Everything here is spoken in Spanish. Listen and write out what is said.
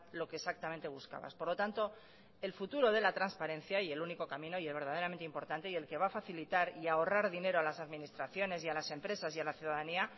lo que exactamente buscabas por lo tanto el futuro de la transparencia y el único camino y el verdaderamente importante y el que va a facilitar y ahorrar dinero a las administraciones y a las empresas y a la ciudadanía